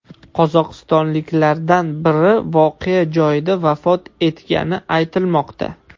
Qozog‘istonliklardan biri voqea joyida vafot etgani aytilmoqda.